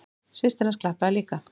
Systir hans klappaði líka.